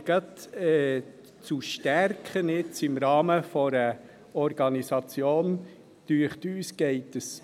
Wir finden aber, es gehe ein bisschen zu weit, im Rahmen einer Organisation gerade «zu stärken».